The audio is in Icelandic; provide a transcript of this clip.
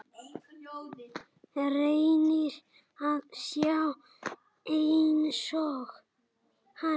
Reynir að sjá einsog hann.